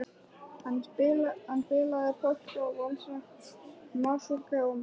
Hann spilaði polka og valsa, masúrka og marsa.